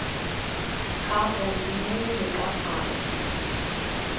ka godimo le ka fase